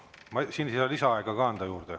Ma siin ei saa lisaaega ka anda.